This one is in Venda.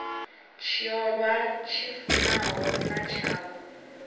tshiolwa tshi fanaho na tshavho